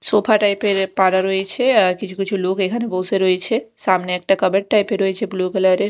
Sofa type -এর পাতা রয়েছে আর কিছু কিছু লোক এখানে বসে রয়েছে সামনে একটা কাবাড টাইপ -এর রয়েছে ব্লু কালার -এর।